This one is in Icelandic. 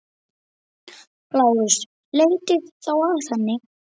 LÁRUS: Leitið þá að henni.